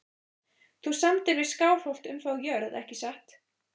Þú samdir við Skálholt um þá jörð ekki satt?